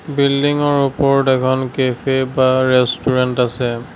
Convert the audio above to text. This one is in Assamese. বিল্ডিংৰ ওপৰত এখন কেফে বা ৰেষ্টোৰেণ্ট আছে।